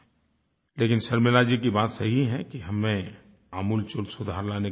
लेकिन शर्मिला जी की बात सही है कि हम में आमूलचूल सुधार लाने की ज़रूरत है